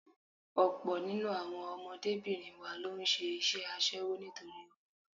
Ọ̀pọ̀ nínú àwọn ọmọbìnrin wa ló ń ṣe iṣẹ́ aṣẹ́wó nítorí owó.